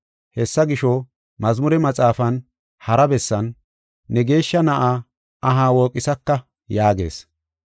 Hessa gisho, Mazmure Maxaafan hara bessan, “ ‘Ne Geeshsha Na7aa aha wooqisaka’ yaagees.